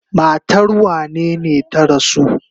Matar wanene ta rasu?